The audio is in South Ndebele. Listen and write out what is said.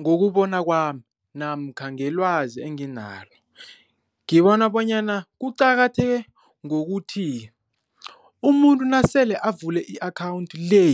Ngokubona kwami namkha ngelwazi enginalo, ngibona bonyana kuqakatheke ngokuthi umuntu nasele avule i-akhawunti le